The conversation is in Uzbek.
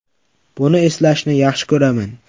Buni eslashni yaxshi ko‘raman.